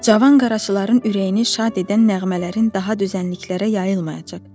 Cavan qaraçıların ürəyini şad edən nəğmələrin daha düzənliklərə yayılmayacaq.